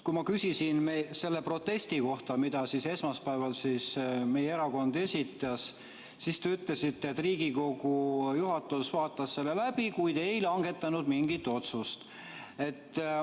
Kui ma küsisin selle protesti kohta, mille meie erakond esmaspäeval esitas, siis te ütlesite, et Riigikogu juhatus vaatas selle läbi, kuid ei langetanud mingit otsust.